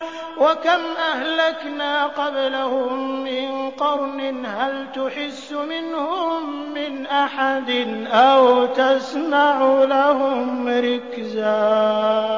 وَكَمْ أَهْلَكْنَا قَبْلَهُم مِّن قَرْنٍ هَلْ تُحِسُّ مِنْهُم مِّنْ أَحَدٍ أَوْ تَسْمَعُ لَهُمْ رِكْزًا